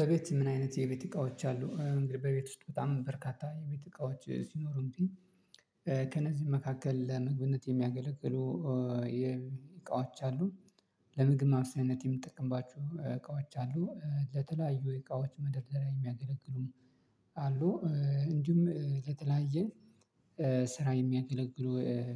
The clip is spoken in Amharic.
በቤት ምን? አይነት የቤት እቃዎች አሉ እንግዲህ በቤት ውስጥ በጣም በርካታ የቤት እቃዎች ሲኖሩትም መካከል ለመግብነት የሚያገለግሉ የእቃዎቻ አሉ። ለምግብ ማስብሰያ የምጠቅምባችሁ እቃዎች አሉ ለተለያዩ እቃዎች መደርደሪያ የሚያገለግሉም አሉ። እንዲሁም የተለያየ ስራ የሚያገለግሉ